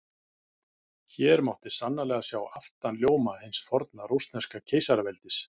Hér mátti sannarlega sjá aftanljóma hins forna rússneska keisaraveldis!